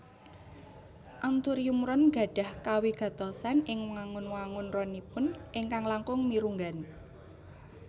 Anthurium ron gadhah kawigatosan ing wangun wangun ronipun ingkang langkung mirunggan